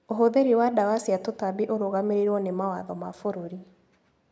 ũhũthĩri wa ndawa cia tũtambi ũrũgamĩrĩirwo nĩ mawatho ma bũrũri.